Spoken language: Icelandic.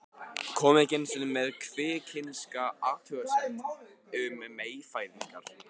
Kom ekki einu sinni með kvikinska athugasemd um meyfæðingar.